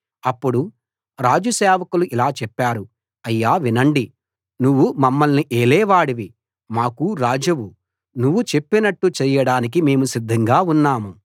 అప్పుడు రాజు సేవకులు ఇలా చెప్పారు అయ్యా వినండి నువ్వు మమ్మల్ని ఏలేవాడివి మాకు రాజువు నువ్వు చెప్పినట్టు చేయడానికి మేము సిద్ధంగా ఉన్నాము